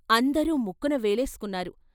అందరూ ముక్కున వేలేసుకున్నారు.